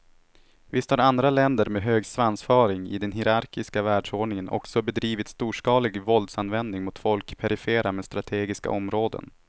Visst har andra länder med hög svansföring i den hierarkiska världsordningen också bedrivit storskalig våldsanvändning mot folk i perifera men strategiska områden.